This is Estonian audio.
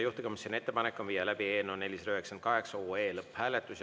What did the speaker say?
Juhtivkomisjoni ettepanek on viia läbi eelnõu 498 lõpphääletus.